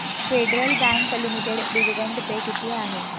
federal Bank Limited dividend pay किती आहे